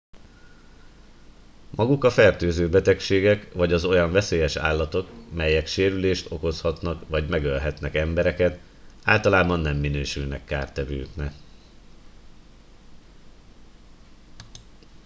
maguk a fertőző betegségek vagy az olyan veszélyes állatok melyek sérülést okozhatnak vagy megölhetnek embereket általában nem minősülnek kártevőknek